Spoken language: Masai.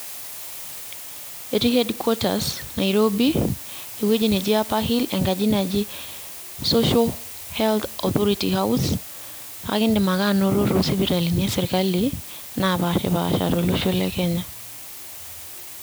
Etii headquarters Nairobi, ewueji neji Upper Hill enkaji naji Social Health Authority House ,kake iidim ake anoto to sipitalini esirkali napashipaasha tolosho le Kenya.